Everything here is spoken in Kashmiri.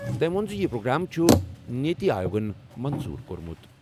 تٔمۍ ووٚن زِ یہِ پروگرام چھُ نیتی آیوگَن منظوٗر کوٚرمُت۔